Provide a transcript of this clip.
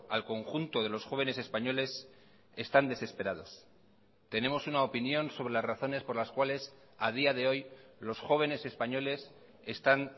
al conjunto de los jóvenes españoles están desesperados tenemos una opinión sobre las razones por las cuales a día de hoy los jóvenes españoles están